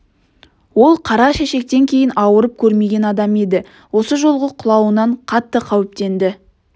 ол қара шешектен кейін ауырып көрмеген адам еді осы жолғы құлауынан қатты қауіптенді